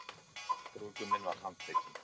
Brúðguminn var handtekinn